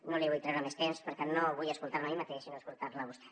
no li vull treure més temps perquè no vull escoltar me a mi mateix sinó escoltar la a vostè